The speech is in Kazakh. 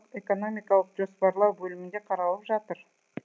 экономикалық жоспарлау бөлімінде қаралып жатыр